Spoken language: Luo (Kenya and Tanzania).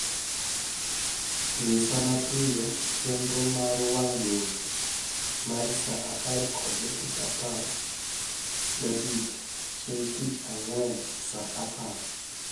Nyisa mapiyo chenro mar mar wang' jowi mar saa apar kod dakika apar kod abich chieng' tich ang'wen saa apar